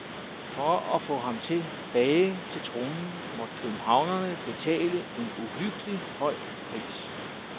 For at få ham tilbage til tronen, måtte københavnerne betale en uhyggelig høj pris.